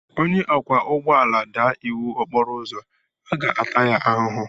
Onye ọkwọ ụgbọala daa iwu okporo ụzọ, a ga-ata ya ahụhụ.